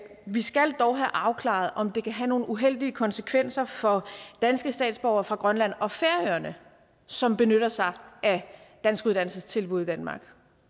vi skal dog have afklaret om det kan have nogle uheldige konsekvenser for danske statsborgere fra grønland og færøerne som benytter sig af danskuddannelsestilbud i danmark